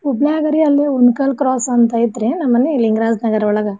ಹುಬ್ಳಿಲ್ಯಾಗ್ರೀ ಅಲ್ಲೇ Unkal cross ಅಂತ್ ಐತ್ರಿ ನಮ್ ಮನಿ ಲಿಂಗರಾಜ್ ನಗ್ರಾ ಒಳ್ಗ.